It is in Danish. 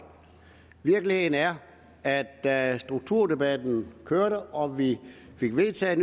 virkeligheden er at da strukturdebatten kørte og vi fik vedtaget